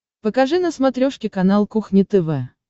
покажи на смотрешке канал кухня тв